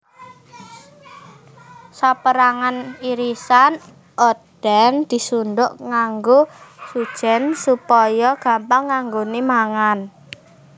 Saperangan irisan oden disundhuk nganggo sujen supaya gampang anggone mangan